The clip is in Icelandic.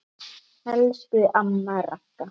Elsku amma Ragga.